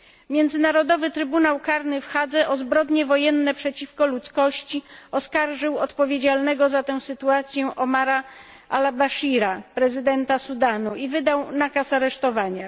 Międzynarodowy Trybunał Karny w Hadze o zbrodnie wojenne przeciwko ludzkości oskarżył odpowiedzialnego za tę sytuację Omara Al Baszira, prezydenta Sudanu i wydał nakaz aresztowania.